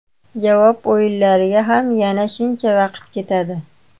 Javob o‘yinlariga ham yana shuncha vaqt ketadi.